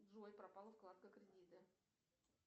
джой пропала вкладка кредиты